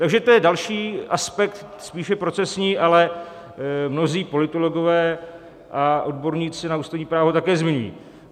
Takže to je další aspekt spíše procesní, ale mnozí politologové a odborníci na ústavní právo také zmiňují.